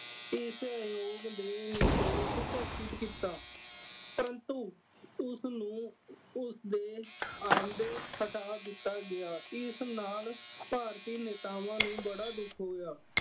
ਇਸ ਆਯੋਗ ਦੇ ਨਿਰਦੋਸ਼ ਘੋਸ਼ਿਤ ਕੀਤਾ। ਪਰੰਤੂ ਉਸਨੂੰ ਉਸਦੇ ਆਉਂਦੇ ਹਟਾ ਦਿੱਤਾ ਗਿਆ। ਇਸ ਨਾਲ ਭਾਰਤੀ ਨੇਤਾਵਾਂ ਨੂੰ ਬੜਾ ਦੁੱਖ ਹੋਇਆ।